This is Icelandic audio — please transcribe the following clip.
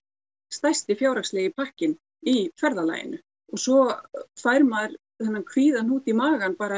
stærsti fjárhagslegi pakkinn í ferðalaginu svo fær maður þennan kvíðahnút í magann